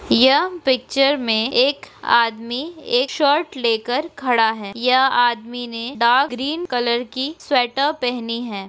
यह पिक्चर में एक आदमी एक शर्ट लेकर खड़ा है यह आदमी ने द ग्रीन कलर की स्वेटर पेहनी है।